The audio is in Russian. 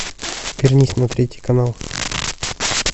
вернись на третий канал